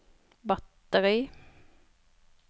batteri